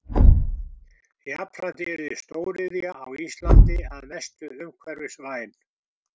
Jafnframt yrði stóriðja á Íslandi að mestu umhverfisvæn.